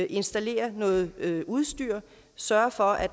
installere noget udstyr og sørge for at